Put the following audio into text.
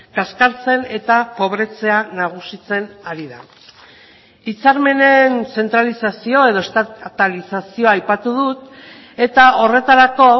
kaskartzen eta pobretzea nagusitzen ari da hitzarmenen zentralizazio edo estatalizazioa aipatu dut eta horretarako